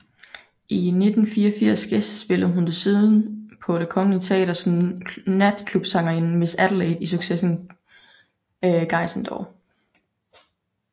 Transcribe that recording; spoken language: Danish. I 1984 gæstespillede hun desuden på Det Kongelige Teater som natklubsangerinden Miss Adelaide i succesen Guys and Dolls